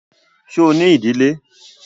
Ṣo ní ìdílé?